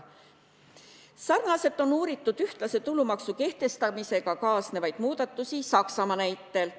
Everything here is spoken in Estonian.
Sarnaselt on uuritud ühtlase tulumaksu kehtestamisega kaasnevaid muudatusi Saksamaa näitel.